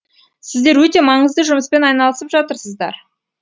сіздер өте маңызды жұмыспен айналысып жатырсыздар